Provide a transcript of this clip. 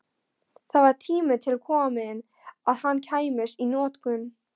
Það var tími til kominn að hann kæmist í notkun!